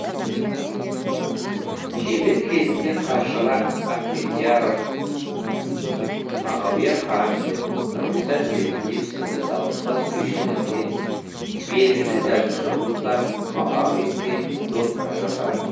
шебер кезінде қаршыға ахмедияров мағауия хамзин нұрғиса тілендиев сынды дауылпаз күйшілерге белгілі жазушы мұхтар мағауинге домбыра жасаған